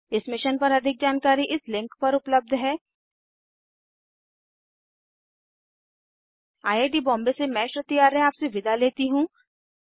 इस मिशन पर अधिक जानकारी इस लिंक पर उपलब्ध है httpspoken tutorialorgNMEICT Intro I I T Bombay से मैं श्रुति आर्य आपसे विदा लेती हूँ